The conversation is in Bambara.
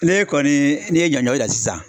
N'e kɔni n'i ye ɲɔɲɔrɔ dan sisan